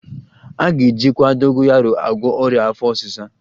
A ga-ejikwa dogoyaro agwọ ọrịa afọ ọsịsa